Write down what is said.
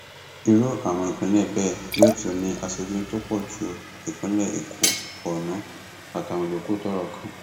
irú àwọn ìpínlẹ bẹẹ yóò tún ní aṣojú tó pọ ju ìpínlẹ èkó borno àtàwọn yòókù tọrọ kàn